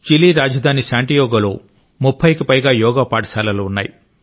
Chile రాజధాని శాంటియాగోలో 30 కి పైగా యోగా పాఠశాలలు ఉన్నాయి